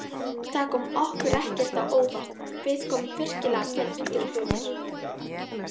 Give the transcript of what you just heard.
Það kom okkur ekkert á óvart, við komum virkilega vel undirbúnir.